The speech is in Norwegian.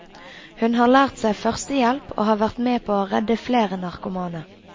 Hun har lært seg førstehjelp og har vært med på å redde flere narkomane.